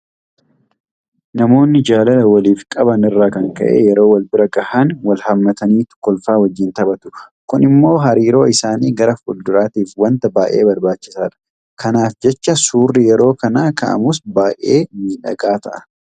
Namoonni jaalala waliif qaban irraa kan ka'e yeroo walbira gahan walhaammataniitu kolfaa wajjin taphatu. Kun immoo hariiroo isaanii gara fuulduraatiif waanta baay'ee barbaachisaadha. Kanaaf jecha suurri yeroo kana ka'amus baay'ee miidhagaa ta'a.